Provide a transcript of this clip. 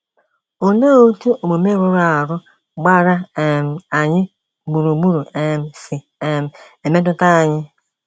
Olee otú omume rụrụ arụ gbara um anyị gburugburu um si um emetụta anyị?